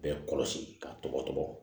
Bɛɛ kɔlɔsi ka tɔgɔ tɔgɔ